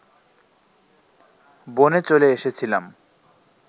বনে চলে এসেছিলাম